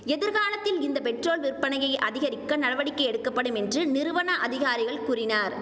எதிர்காலத்தில் இந்த பெட்ரோல் விற்பனையை அதிகரிக்க நடவடிக்கை எடுக்கப்படும் என்று நிறுவன அதிகாரிகள் கூறினார்